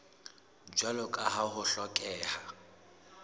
jwalo ka ha ho hlokeha